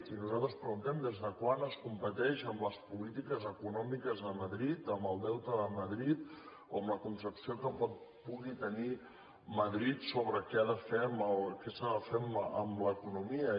i nosaltres preguntem des de quan es competeix amb les políti·ques econòmiques de madrid amb el deute de madrid o amb la concepció que pugui tenir madrid sobre què s’ha de fer amb l’economia